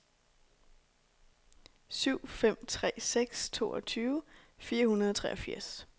syv fem tre seks toogtyve fire hundrede og treogfirs